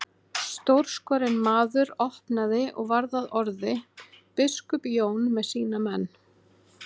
Stórskorinn maður opnaði og varð að orði:-Biskup Jón með sína menn.